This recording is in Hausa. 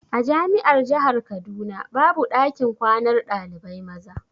A jami'ar jahar kaduna babu ɗakin kwanar ɗalibai maza.